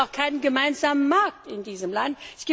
Es gibt keinen gemeinsamen Markt in diesem Land.